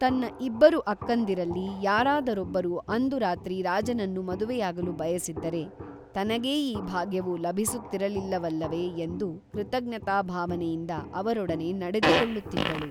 ತನ್ನ ಇಬ್ಬರು ಅಕ್ಕಂದಿರಲ್ಲಿ ಯಾರಾದರೊಬ್ಬರು ಅಂದು ರಾತ್ರಿ ರಾಜನನ್ನು ಮದುವೆಯಾಗಲು ಬಯಸಿದ್ದರೆ ತನಗೇ ಈ ಭಾಗ್ಯವು ಲಭಿಸುತ್ತಿರಲಿಲ್ಲವಲ್ಲವೇ ಎಂದು ಕೃತಜ್ಞತಾಭಾವನೆಯಿಂದ ಅವರೊಡನೆ ನಡೆದುಕೊಳ್ಳುತ್ತಿದ್ದಳು